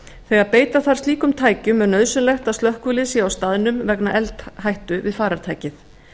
þegar beita þarf slíkum tækjum er nauðsynlegt að slökkvilið sé á staðnum vegna eldhættu við farartækið